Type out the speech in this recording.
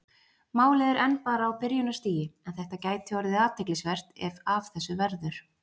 Málið er enn bara á byrjunarstigi en þetta gæti orðið athyglisvert ef af þessu verður.